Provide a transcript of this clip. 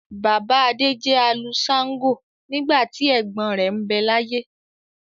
Bàbá Adé jẹ́ alu shàǹgo nígbà tí ẹ̀gbọ́n rẹ̀ ń bẹ láyé.